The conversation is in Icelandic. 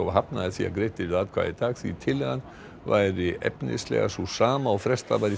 hafnaði því að greidd yrðu atkvæði í dag því tillagan væri efnislega sú sama og frestað var í